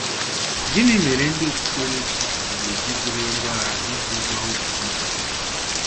Gịnị mere ndị Okpụkpere chi ga-eji bulie ngwa agha iji zọwa okpukpe ha?